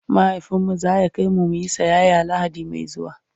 mahaifinmu zaya kaimu muyi siyaya lahadi Mai zuwa